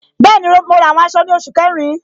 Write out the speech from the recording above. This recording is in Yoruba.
Bẹẹni, mo ra àwọn aṣọ ni oṣù kẹrin.